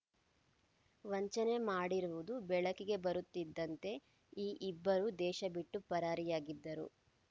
ವಂಚನೆ ಮಾಡಿರುವುದು ಬೆಳಕಿಗೆ ಬರುತ್ತಿದ್ದಂತೆ ಈ ಇಬ್ಬರು ದೇಶಬಿಟ್ಟು ಪರಾರಿಯಾಗಿದ್ದರು